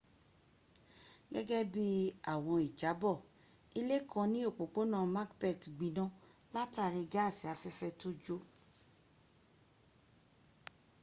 gẹ́gẹ́ bí àwọn ìjábọ̀ ilé kan ní òpópónà macbeth gbiná látàrí gáàsì afẹ́fẹ́ tó jò